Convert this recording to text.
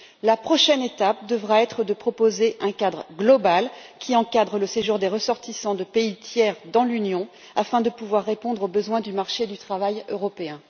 La prochaine étape devra être de proposer un cadre global, qui encadre le séjour des ressortissants de pays tiers dans l'Union, afin de pouvoir répondre aux besoins du marché du travail européen.